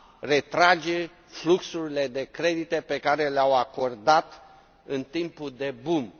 a retrage fluxurile de credite pe care le au acordat în timpul boomului.